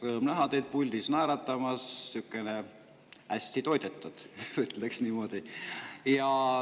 Rõõm näha teid puldis naeratamas, sihuke hästi toidetud, ütleks niimoodi.